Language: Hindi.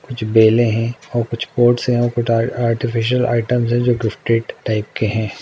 कुछ बेले है और कुछ पोट्स है और आर आर्टिफिशियल आइटम्स है जो की स्ट्रेट टाइप के है।